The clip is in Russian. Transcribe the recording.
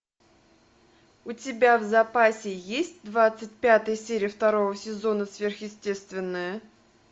у тебя в запасе есть двадцать пятая серия второго сезона сверхъестественное